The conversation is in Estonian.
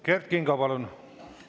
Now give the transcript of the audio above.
Kert Kingo, palun!